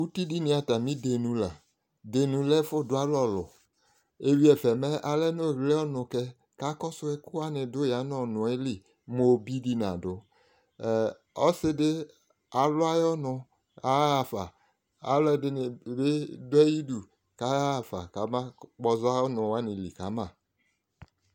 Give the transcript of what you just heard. Uti dini atamɩ Denu la Denu lɛ ɛfʋ dʋ alɛ ɔlʋ Eyui ɛfɛ mɛ, alɛ nʋ ɔɣle ɔnʋ kɛ, Kakɔsʋ ɛkʋwanɩ dʋ yanʋ ɔnʋ yɛ li mʋ obi dɩ nadʋ Ɛ, ɔsɩ dɩ alʋ ayʋ ɔnʋ aɣafa, alʋɛdɩnɩ bɩ dʋ ayidu k'ayaɣafa k'amakpɔza alnʋwanɩ li kama